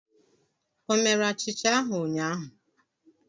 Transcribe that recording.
O mere achicha ahụ ụnyahụ?